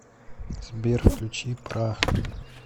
сбер включи пра